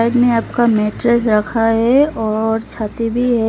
मे आपका मेट्रस रखा है और छाती भी है।